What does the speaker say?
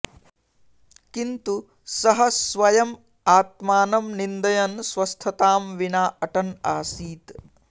किन्तू सः स्वयम् आत्मानम् निन्दयन् स्वस्थ्ताम् विना अटन् आसीत्